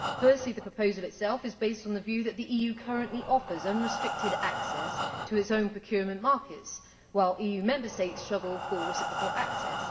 Firstly, the proposal itself is based on the view that the EU currently offers unrestricted access to its own procurement markets, while EU Member States struggle for reciprocal access.